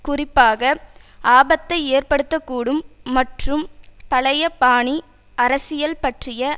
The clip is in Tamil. குறிப்பாக ஆபத்தை ஏற்படுத்த கூடும் மற்றும் பழைய பாணி அரசியல் பற்றிய